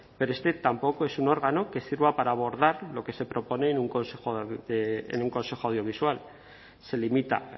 pero este tampoco es un órgano que sirva para abordar lo que se propone en un consejo audiovisual se limita